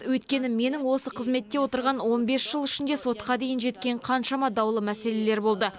өйткені менің осы қызметте отырған он бес жыл ішінде сотқа дейін жеткен қаншама даулы мәселелер болды